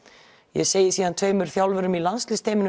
ég segi síðan tveimur þjálfurum í